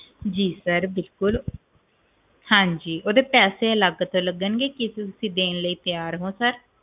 ਜੀ ਬਿਲਕੁਲ sir ਹਾਂਜੀ ਓਦੇ ਪੈਸੇ ਅਲਗ ਤੋਂ ਲੱਗਣਗੇ ਕੀ ਤੁਸੀਂ ਦੇਣ ਲਈ ਤਿਆਰ ਹੋ sir